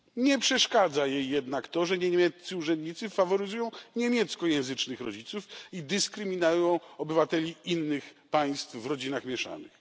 Nie przeszkadza jej jednak to, że niemieccy urzędnicy faworyzują niemieckojęzycznych rodziców i dyskryminują obywateli innych państw w rodzinach mieszanych.